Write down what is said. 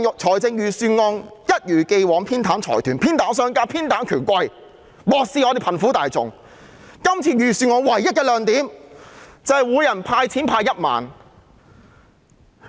這份預算案一如既往偏袒財團、商家和權貴，漠視貧苦大眾，唯一亮點就是每人派發1萬元現金。